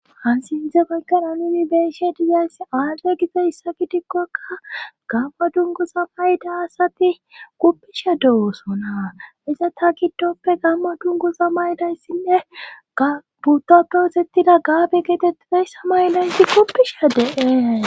han sinthe baygan nuni be'she dizayssi aadde giza issa gitikkokka gamma dungu za mayda asati kuppisha dewosonaa iza ta gidoppe gamma dungu za maydayssinne gbudappewosettida gaabe geetettiday samaylayssi kuppisha de'ees